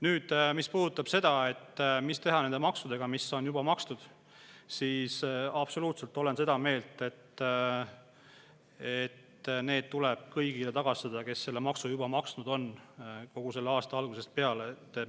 Nüüd, mis puudutab seda, et mis teha nende maksudega, mis on juba makstud, siis absoluutselt olen seda meelt, et need tuleb tagastada kõigile, kes on juba aasta algusest peale seda maksu maksnud.